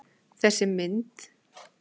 Mynd sem þessi getur blekkt mannsaugað.